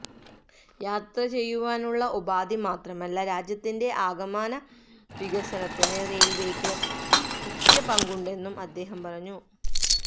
യാത്രചെയ്യുവാനുള്ള ഉപാധിമാത്രമല്ല രാജ്യത്തിന്റെ ആകമാന വികസനത്തിന് റെയില്വേക്ക് മുഖ്യപങ്കുണ്ടെന്നും അദ്ദേഹം പറഞ്ഞു